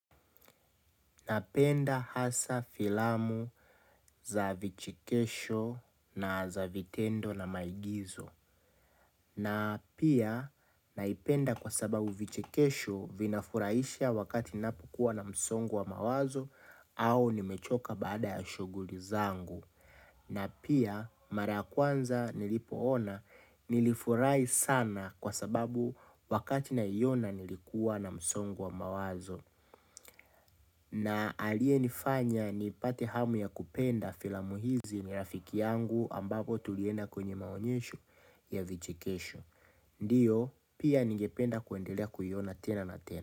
Napenda hasa filamu za vichekesho na za vitendo na maigizo na pia naipenda kwa sababu vichekesho vinafurahisha wakati ninapo kuwa na msongo wa mawazo au nimechoka baada ya shughuli zangu na pia mara ya kwanza nilipoona nilifurahi sana kwa sababu wakati naiona nilikuwa na msongo wa mawazo. Na aliye nifanya ni pate hamu ya kupenda filamu hizi ni rafiki yangu ambapo tulienda kwenye maonyesho ya vichekesho ndiyo pia ningependa kuendelea kuiona tena na tena.